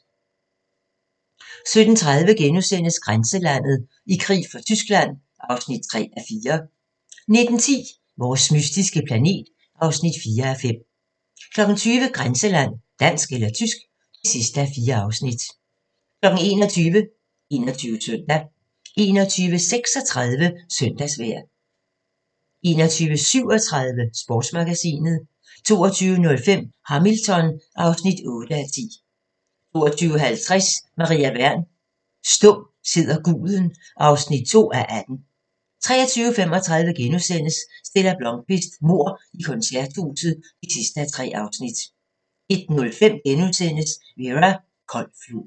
17:30: Grænseland – I krig for Tyskland (3:4)* 19:10: Vores mystiske planet (4:5) 20:00: Grænseland - Dansk eller tysk (4:4) 21:00: 21 Søndag 21:36: Søndagsvejr 21:37: Sportsmagasinet 22:05: Hamilton (8:10) 22:50: Maria Wern: Stum sidder guden (2:18) 23:35: Stella Blómkvist: Mord i koncerthuset (3:3)* 01:05: Vera: Kold flod *